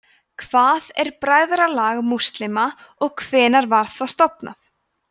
hvað er bræðralag múslíma og hvenær var það stofnað